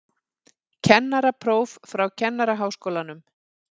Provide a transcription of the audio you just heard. Kennarapróf frá Kennaraháskólanum